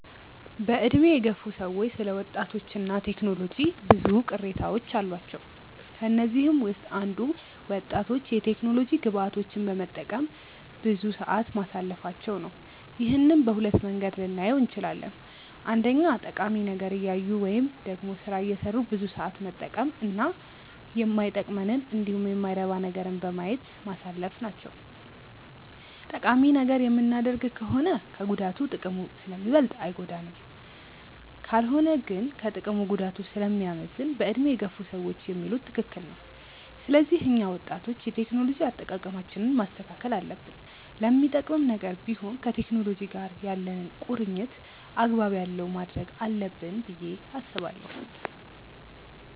በዕድሜ የገፉ ሰዎች ስለ ወጣቶች እና ቴክኖሎጂ ብዙ ቅሬታዎች አሏቸው። ከነዚህም ውስጥ አንዱ ወጣቶች የቴክኖሎጂ ግብአቶችን በመጠቀም ብዙ ሰዓት ማሳለፋቸው ነው። ይህንን በሁለት መንገድ ልናየው እንችላለን። አንደኛ ጠቃሚ ነገር እያዩ ወይም ደግሞ ስራ እየሰሩ ብዙ ሰዓት መጠቀም እና ማይጠቅመንንን እንዲሁም የማይረባ ነገርን በማየት ማሳለፍ ናቸው። ጠቃሚ ነገር የምናደርግ ከሆነ ከጉዳቱ ጥቅሙ ስለሚበልጥ አይጎዳንም። ካልሆነ ግን ከጥቅሙ ጉዳቱ ስለሚያመዝን በዕድሜ የገፉ ሰዎች የሚሉት ትክክል ነው። ስለዚህ እኛ ወጣቶች የቴክኖሎጂ አጠቃቀማችንን ማስተካከል አለብን። ለሚጠቅምም ነገር ቢሆን ከቴክኖሎጂ ጋር ያለንን ቁርኝነት አግባብ ያለው ማድረግ አለብን ብዬ አስባለሁ።